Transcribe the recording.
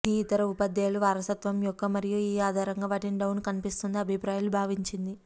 ఇది ఇతర ఉపాధ్యాయులు వారసత్వం యొక్క మరియు ఈ ఆధారంగా వాటిని డౌన్ కనిపిస్తోంది అభిప్రాయాలు భావించింది